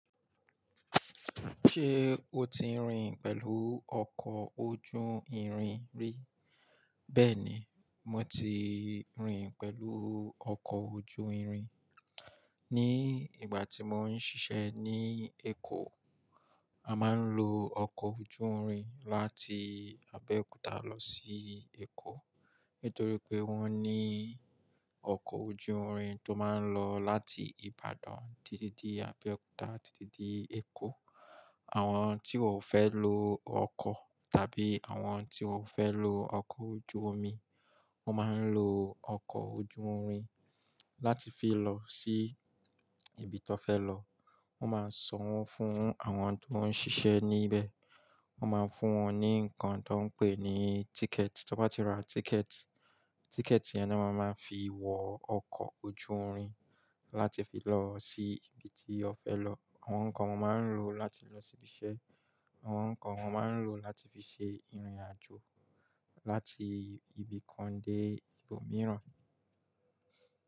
Ṣé o ti rìn pẹ̀lú ọkọ̀ ojú irin rí? Bẹ́ẹ̀ni, mo ti rìn pẹ̀lú ọkọ̀ ojú irin. Ni ìgbà tí mò ń ṣiṣẹ́ ní Èkó, a máa ń lo ọkọ̀ ojú irin láti Abeokuta lọ sí Èkó. Nítorí pé wọ́n ní ọkọ̀ ojú irin tó máa ń lọ láti Ibadan títí dé Abeokuta títí dé Èkó. Àwọn tí wọn fẹ́ lo ọkọ̀ tàbí àwọn tí wọn fẹ́ lo ọkọ̀ ojú omi, wọ́n máa ń lo ọkọ̀ ojú irin láti fi lọ sí ibi tón fẹ́ lọ. Wọ́n máa san owo fún àwọn ti won ṣiṣẹ́ níbẹ̀. Wọ́n máa fún wọn ní nǹkan tó ń pè ní tíkẹ̀ẹ̀tì. Tí wọ́n bá ti ra tíkẹ̀ẹ̀tì, tíkẹ̀ẹ̀tì yẹn ni wọ́n máa ń fi wọ ọkọ̀ ojú irin láti fi lọ sí ibi tí ó fẹ́ lọ. Àwọn nǹkan wọ́n máa ń lò láti lọ sí ibiṣẹ́, àwọn nǹkan wọ́n máa ń lò láti fi ṣe ìrìn àjò láti ibi kan dé ibòmíràn.